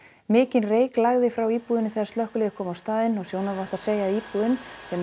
mikinn reyk lagði frá íbúðinni þegar slökkvilið kom á staðinn og sjónvarvottar segja að íbúðin sem